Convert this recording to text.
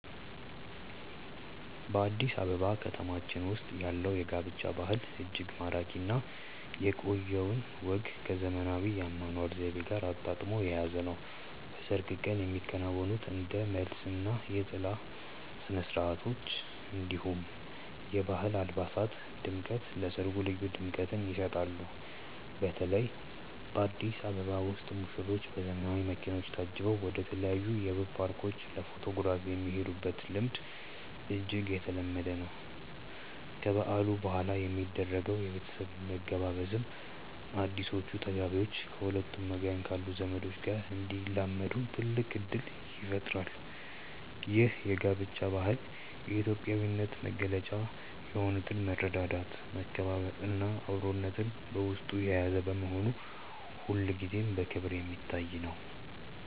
በአዲስ አበባ ከተማችን ውስጥ ያለው የጋብቻ ባህል እጅግ ማራኪ እና የቆየውን ወግ ከዘመናዊው የአኗኗር ዘይቤ ጋር አጣጥሞ የያዘ ነው። በሰርግ ቀን የሚከናወኑት እንደ መልስ እና የጥላ ስነስርዓቶች፣ እንዲሁም የባህል አልባሳት ድምቀት ለሰርጉ ልዩ ድምቀትን ይሰጡታል። በተለይ በአዲስ አበባ ውስጥ ሙሽሮች በዘመናዊ መኪኖች ታጅበው ወደተለያዩ ውብ ፓርኮች ለፎቶግራፍ የሚሄዱበት ልምድ እጅግ የተለመደ ነው። ከበዓሉ በኋላ የሚደረገው የቤተሰብ መገባበዝም አዲሶቹ ተጋቢዎች ከሁለቱም ወገን ካሉ ዘመዶች ጋር እንዲላመዱ ትልቅ እድል ይፈጥራል። ይህ የጋብቻ ባህል የኢትዮጵያዊነትን መገለጫ የሆኑትን መረዳዳት፣ መከባበር እና አብሮነትን በውስጡ የያዘ በመሆኑ ሁልጊዜም በክብር የሚታይ ነው።